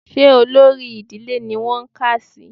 Ṣé olórí ìdílé ni wọ́n kà á sí